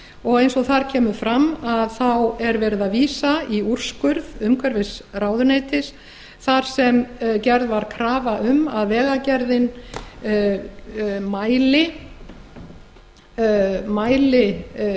og eins og þar kemur fram er verið að vísa í úrskurð umhverfisráðuneytis þar sem gerð var krafa um að vegagerðin mæli